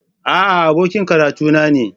A'a, abokin karatuna ne